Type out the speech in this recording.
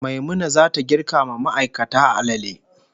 Maimuna zata girka ma ma'aikata alale